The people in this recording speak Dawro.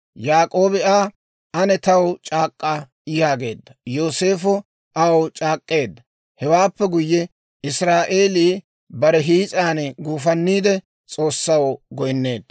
Yaak'oobi Aa, «Ane taw c'aak'k'a» yaageedda. Yooseefo aw c'aak'k'eedda; hewaappe guyye, Israa'eelii bare hiis'an guufanniide, S'oossaw goynneedda.